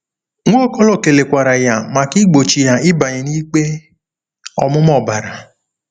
Nwaokolo kelekwara ya maka igbochi ya ịbanye n'ikpe ọmụma ọbara.